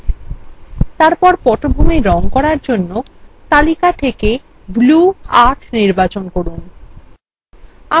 তারপর পটভূমির রঙএর জন্য তালিকা থেকে blue ৮ নির্বাচন করুন